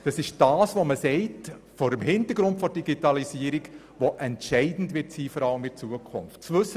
Vor dem Hintergrund der Digitalisierung werden diese Dinge in Zukunft entscheidend sein.